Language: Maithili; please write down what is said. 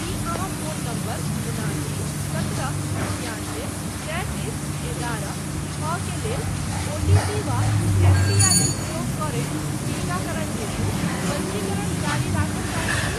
की अहाँ फोन नंबर उनासी सत्रह छिआनबे तैंतीस एगारह छओ के लेल ओटीपी वा एमपीआइएन प्रयोग करैत टीकाकरण हेतु पञ्जीकरण जारी राखय चाहैत छी ?